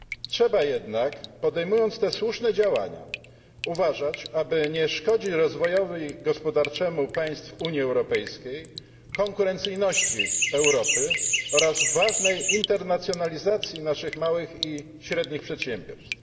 Trzeba jednak, podejmując te słuszne działania, uważać, aby nie szkodzić rozwojowi gospodarczemu państw Unii Europejskiej, konkurencyjności Europy oraz ważnej internacjonalizacji naszych małych i średnich przedsiębiorstw.